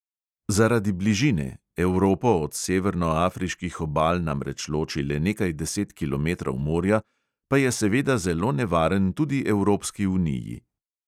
Zaradi bližine – evropo od severnoafriških obal namreč loči le nekaj deset kilometrov morja – pa je seveda zelo nevaren tudi evropski uniji.